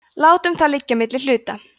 látum það liggja á milli hluta